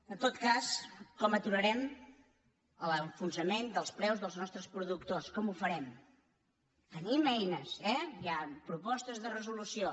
en tot cas com aturarem l’enfonsament dels preus dels nostres productors com ho farem hi tenim ei·nes eh hi ha propostes de resolució